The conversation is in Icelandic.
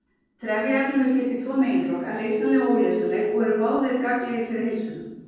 Trefjaefnum er skipt í tvo meginflokka- leysanleg og óleysanleg- og eru báðir gagnlegir fyrir heilsuna.